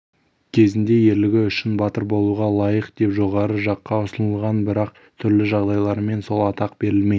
кезінде ерлігі үшін батыр болуға лайық деп жоғары жаққа ұсынылған бірақ түрлі жағдайлармен сол атақ берілмей